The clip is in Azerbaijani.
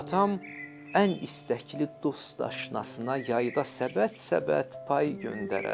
Atam ən istəkli dost-aşnasına yayda səbət-səbət pay göndərərdi.